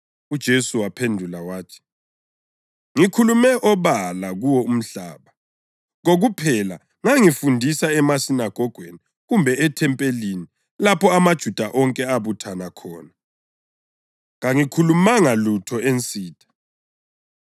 UJesu waphendula wathi, “Ngikhulume obala kuwo umhlaba. Kokuphela ngangifundisa emasinagogweni kumbe ethempelini lapho amaJuda onke abuthana khona. Kangikhulumanga lutho ensitha.